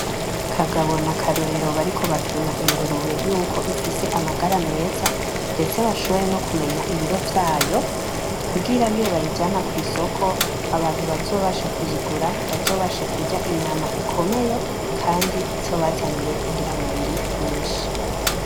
Kagabo na Karorero bariko bapima ingurube yuko ifise amagara meza ndetse bashobore nokumenya ibiro vyayo, kugira niyo nibayijana kwisoko abantu bazobasha kuyigura bazobashe kurya inyama ikomeye kandi izobazanire ingira mubiri nyinshi.